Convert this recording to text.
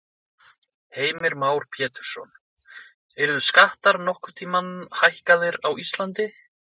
Heimir Már Pétursson: Yrðu skattar nokkurn tímann hækkaðir á Íslandi?